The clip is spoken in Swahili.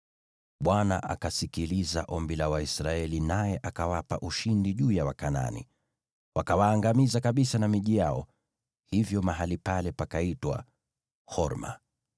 Bwana akasikiliza ombi la Waisraeli, naye akawapa ushindi juu ya Wakanaani. Wakawaangamiza kabisa na miji yao; hivyo mahali pale pakaitwa Horma.